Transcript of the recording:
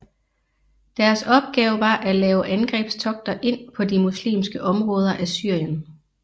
Deres opgave var at lave angrebstogter ind på de muslimske områder af Syrien